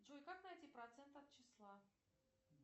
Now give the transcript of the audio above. джой как найти процент от числа